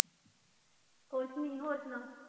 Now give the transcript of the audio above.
ਕੁਛ ਨੀ ਹੋਰ ਸੁਣਾ।